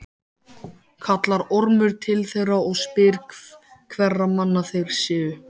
Kallar Ormur til þeirra og spyr hverra manna þeir séu.